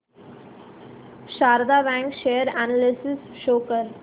Sharda bank share analysis show कर